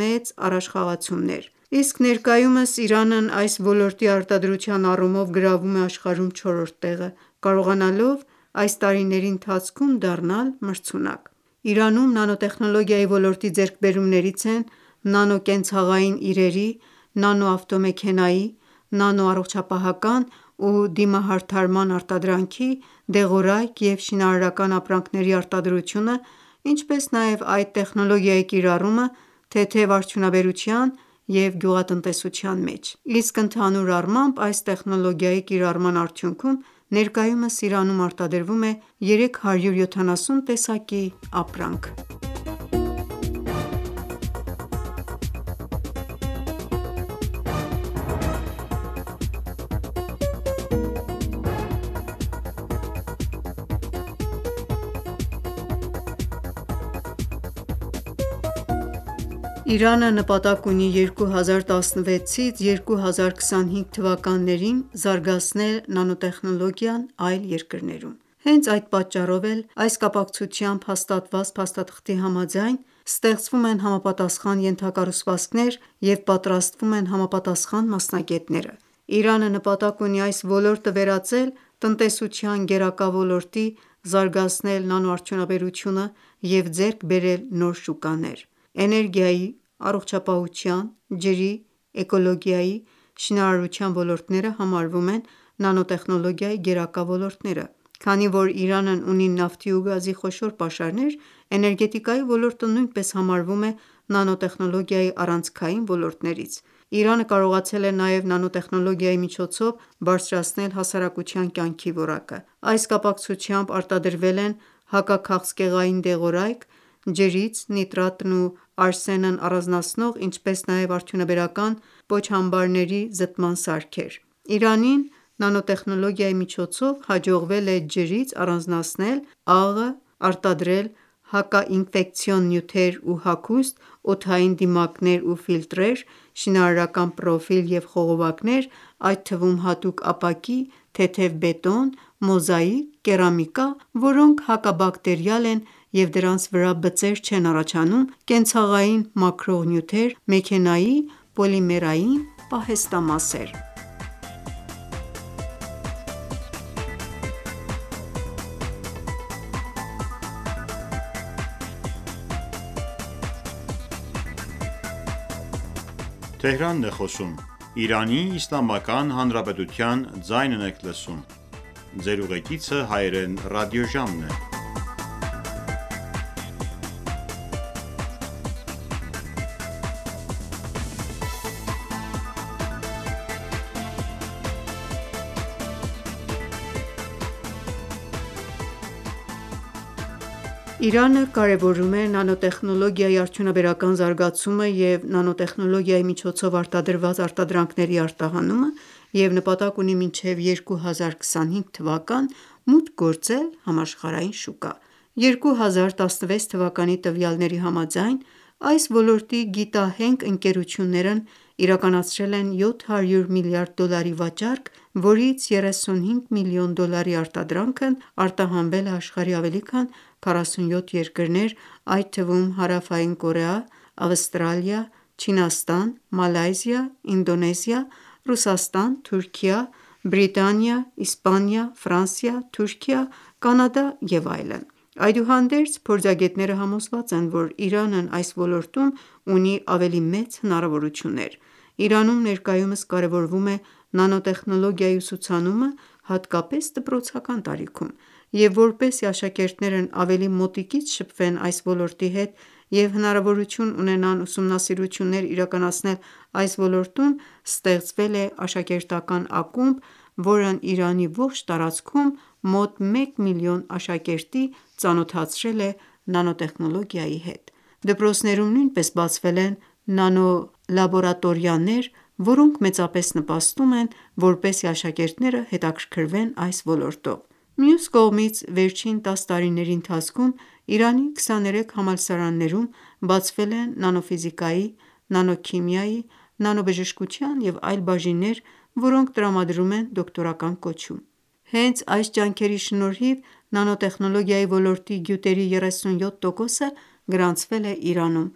մեծ առաջխաղացումներ: Իսկ ներկայումս, Իրանն այս ոլորտի արտադրության առումով գրավում է աշխարհում չորրորդ տեղը, կարողանալով այս տարիների ընթացքում դառնալ մրցունակ: Իրանում նանոտեխնոոգիայի ոլորտի ձեռքբերումներից են նանո-կենցաղային իրերի, նանո-ավտոմեքենայի, նանո-առողջապահական ու դիմահարդարման արտադրանքի, դեղորայք և շինարարական ապրանքների արտադրությունը, ինչպես նաև այդ տեխնոլոգիայի կիրառումը թեթև արդյունաբերության ու գյուղատնտեսության մեջ: Իսկ ընդհանուր առմամբ, այս տեխնոլոգիայի կիրառման արդյունքում, ներկայումս Իրանում արտադրվում է 370 տեսակի ապրանք: Իրանը նպատակ ունի 2016-2025թթ զարգացնել նանոտեխնոլոգիան այլ երկրներում: Հենց այդ պատճառով էլ, այս կապակցությամբ հաստատված փաստաթղթի համաձայն, ստեղծվում են համապատասխան ենթակառուցվածքներ և պատրաստվում են համապատասխան մասնագետները: Իրանը նպատակ ունի այս ոլորտը վերածել տնտեսության գերակա ոլորտի, զարգացնել նանոարդյունաբերությունը և ձեռք բերել նոր շուկաներ: Էներգիայի, առողջապահության, ջրի, էկոլոգիայի, շինարարության ոլորտները համարվում են նանոտեխնոլոգիայի գերակա ոլորտները: Քանի որ Իրանն ունի նավթի ու գազի խոշոր պաշարներ, էներգետիկայի ոլորտը նույնպես համարվում է նանոտեխնոլոգիայի առանցքյաին ոլորտներից: Իրանը կարողացել է նաև նանոտեխնոլոգիայի միջոցով բարձրացնել հասարակության կյանքի որակը: Այս կապակցությամբ, արտադրվել են հակաքաղցկեղային դեղորայք, ջրից նիտրատն ու արսենն առանձնացնող ինչպես նաև արդյունաբերական պոչամբարների զտման սարքեր: Իրանին նանոտեխնելոգիայի միջոցով հաջողվել է ջրից առանձնացնել աղը, արտադրել հակաինֆեկցիոն նյութեր ու հագուստ, օդային դիմակներ ու ֆիլտրեր, շինարակական պրոֆիլ և խողովակներ, այդ թվում՝ հատուկ ապակի, թեթև բետոն, մոզաիկ, կերամիկա, որոնք հակաբակտերիալ են և դրանց վրա բծեր չեն առաջանում, կենցաղային մաքրող նյութեր, մեքենայի պոլիմերային պահեստամասեր: Իրանը կարևորում է նանոտեխնոլոգիայի արդյունաբերական զարգացումը և նանոտեխնոլոգիայի միջոցով արտադրված արտադրանքների արտահանումը և նպատակ ունի մինչև 2025թ մուտք գործել համաշխարհային շուկա: 2016թ տվյալների համաձայն, այս ոլորտի գիտահենք ընկերություններն իրականացրել են 700 միլիարդ դոլարի վաճառք, որից 35 միլիոն դոլարի արտադրանքն արտահանվել է աշխարհի ավելի քան 47 երկրներ, այդ թվում՝ Հարավային Կորեա, Ավստրալիա, Չինաստան, Մալայզիա, Ինդոնեզիա, Ռուսաստան, Թուրքիա, Բրիտանիա, Իսպանիա, Ֆրանսիա, Թուրքիա, Կանադա և այլն: Այդուհանդերձ, փորձագետները համոզված են, որ Իրանն այս ոլորտում ունի ավելի մեծ հնարավորություններ: Իրանում ներկայումս կարևորվում է նանոտեխնոլոգիայի ուսուցանումը հատկապես դպրոցական տարիքում: Եվ որպեսզի աշակերտներն ավելի մոտիկից շփվեն այս ոլորտի հետ և հնարավորություն ունենան ուսումնասիրություններ իրականացնել այս ոլորտում, ստեղծվել է աշակերտական ակումբ, որն Իրանի ողջ տարածքում, մոտ 1 միլիոն աշակերտի ծանոթացրել է նանոտեխնոլոգիայի հետ: Դպրոցներում նույնպես բացվել են նանոլաբորատորիաներ, որոնք մեծապես նպաստում են, որպեսզի աշակերտները հետաքրքրվեն այս ոլորտով: Մյուս կողմից, վերջին 10 տարիների ընթացքում, Իրանի 23 համալսարաններում բացվել են նանո ֆիզիկայի, նանոքիմիայի, նանոբժշկության և այլ բաժիններ՝ որոնք տրամադրում են դոկտորական կոչում: Հենց այս ջանքերի շնորհիվ, նանոտեխնոլոգիայի ոլորտի գյուտերի 37 տոկոսը գրանցվել է Իրանում: